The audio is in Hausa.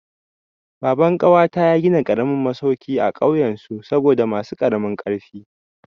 Baban ƙawata ya gina karamin masauki a kauyen su saboda masu karamin ƙarfi.